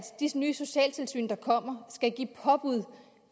disse nye socialtilsyn der kommer skal give påbud